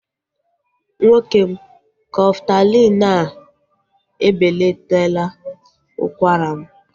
Nwoke m, Kọftalin e belataala ụkwara m